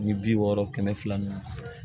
Ni bi wɔɔrɔ kɛmɛ fila ni